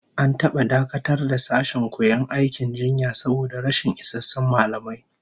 An taba dakatar da sashen koyon aikin jinya saboda rashin isassun mallamai